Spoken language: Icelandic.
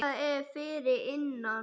Hvað er fyrir innan?